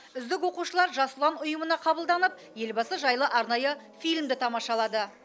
үздік оқушылар жас ұлан ұйымына қабылданып елбасы жайлы арнайы фильмді тамашалады